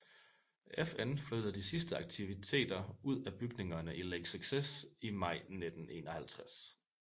FN flyttede de sidste aktiviteter ud af bygningerne i Lake Success i maj 1951